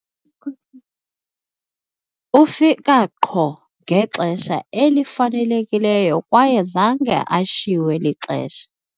ufika qho ngexesha elifanelekileyo kwaye zange ashiywe lixesha